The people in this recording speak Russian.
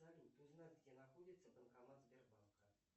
салют узнать где находится банкомат сбербанка